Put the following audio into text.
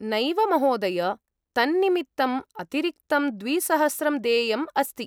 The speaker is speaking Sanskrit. नैव महोदय, तन्निमित्तम् अतिरिक्तं द्विसहस्रं देयम् अस्ति।